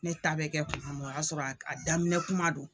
Ne ta be kɛ kuma min o y'a sɔrɔ a daminɛ kuma don.